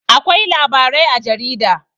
Akwai labarai a jarida.